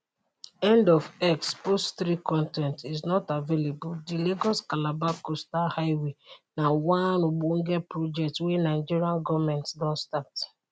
end of x post 3 con ten t is not available di lagos calabar coastal highway na one ogbonge project wey nigeria goment don start